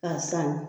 K'a san